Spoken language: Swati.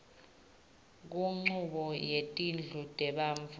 kunchubo yetindlu tebantfu